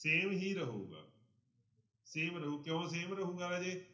same ਹੀ ਰਹੇਗਾ same ਰਹੂ ਕਿਉਂ same ਰਹੇਗਾ ਰਾਜੇ,